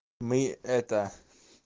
мы это